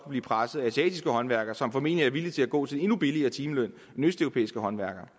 blive presset af asiatiske håndværkere som formentlig er villige til at gå til en endnu billigere timeløn end østeuropæiske håndværkere